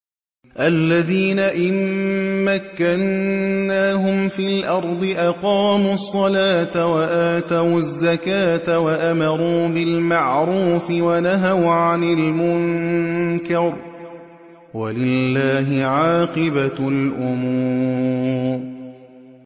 الَّذِينَ إِن مَّكَّنَّاهُمْ فِي الْأَرْضِ أَقَامُوا الصَّلَاةَ وَآتَوُا الزَّكَاةَ وَأَمَرُوا بِالْمَعْرُوفِ وَنَهَوْا عَنِ الْمُنكَرِ ۗ وَلِلَّهِ عَاقِبَةُ الْأُمُورِ